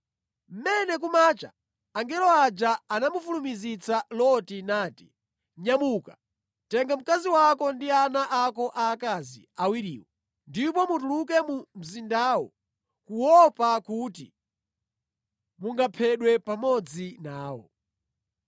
Mmene kumacha, angelo aja anamufulumizitsa Loti nati, “Nyamuka, tenga mkazi wako ndi ana ako aakazi awiriwo, ndipo mutuluke mu mzindawo kuopa kuti mungaphedwe pamodzi nawo.”